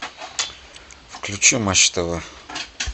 включи матч тв